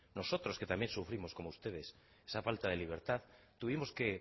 nosotros que también sufrimos como ustedes esa falta de libertad tuvimos